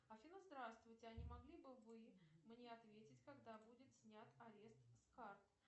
афина здравствуйте а не могли бы вы мне ответить когда будет снят арест с карт